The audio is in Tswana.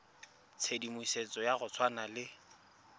tshedimosetso ya go tshwana le